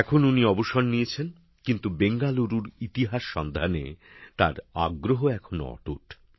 এখন উনি অবসর নিয়েছেন কিন্তু বেঙ্গালুরুর ইতিহাস সন্ধানে তার আগ্রহ এখনও অটুট